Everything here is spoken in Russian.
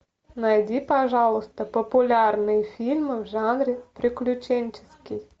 найди пожалуйста популярные фильмы в жанре приключенческий